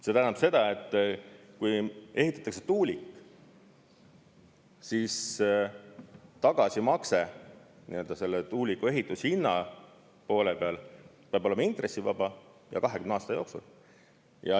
See tähendab seda, et kui ehitatakse tuulik, siis tagasimakse selle tuuliku ehitushinna poole peal peab olema intressivaba, ja 20 aasta jooksul.